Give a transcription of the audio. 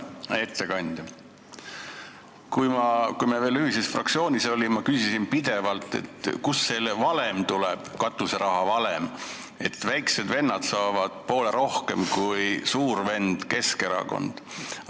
Hea ettekandja, kui me veel ühises fraktsioonis olime, siis ma küsisin pidevalt, kust tuleb selle katuseraha valem, et väiksed vennad saavad poole rohkem kui suur vend Keskerakond.